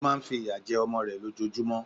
Ó má a nfi ìyà jẹ ọmọ rẹ̀ lójojúmọ́